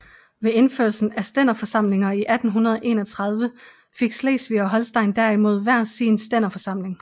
Ved indførelsen af stænderforsamlinger i 1831 fik Slesvig og Holsten derimod hver sin stænderforsamling